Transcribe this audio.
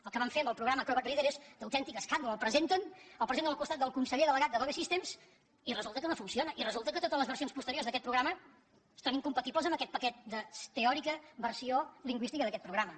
el que van fer amb el programa acrobat reader és d’autèntic escàndol el presenten el presenten al costat del conseller delegat d’adobe systems i resulta que no funciona i resulta que totes les versions posteriors d’aquest programa són incompatibles amb aquest paquet de teòrica versió lingüística d’aquest programa